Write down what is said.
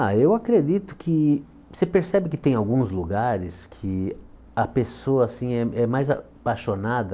Ah, eu acredito que, você percebe que tem alguns lugares que a pessoa assim é é mais apaixonada